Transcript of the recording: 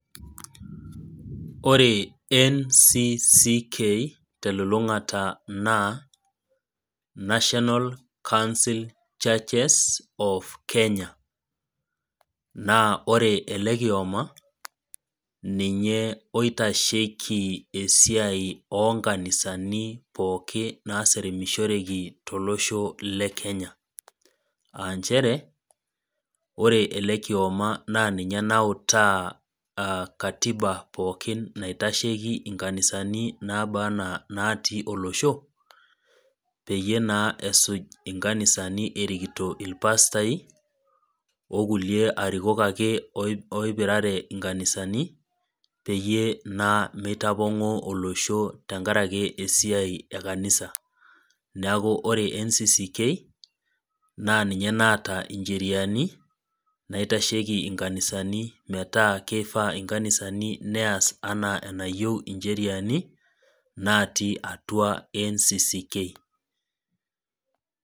Ore NCCK telulungata naa National council churches of Kenya naa ore ele kioma ninye oitashiki esiai oonkanisani pooki naseremishoreki tolosho le Kenya aa nchere ore ele kioma naa ninye nautaa katiba pookin naitashiki inkanisani nabaa enaa inatii olosho peyie naa esuj inkanisani esujita ilpastaiokulie arikok ake oipirare inkanisani peyie naa meitapong'oo olosho tenkaraki esiai e kanisa Neaku ore NCCK naa ninye naata injeriani naitashiki inkanisani naitashiki inkanisani metaa keyieu neas inkanisani enaa enatii injeriani natii atua NCCK.